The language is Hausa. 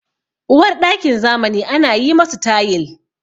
Uwarɗakin zamani ana yi masu tayil.